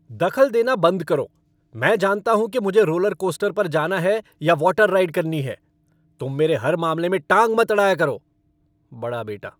दखल देना बंद करो, मैं जानता हूँ कि मुझे रोलरकोस्टर पर जाना है या वॉटर राइड करनी है। तुम मेरे हर मामले में टांग मत अड़ाया करो। बड़ा बेटा